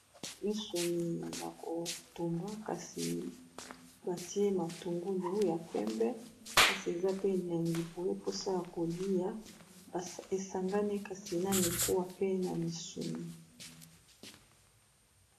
Misuni ya ko tumba kasi ba tie matungulu ya pembe kasi eza pe elengi boye, posa ya kolia e sangani kasi na mikuwa pe na misuni .